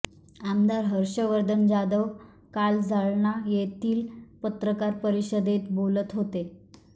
आमदार हर्षवर्धन जाधव काल जालना येथील पत्रकार परिषदेत बोलत होते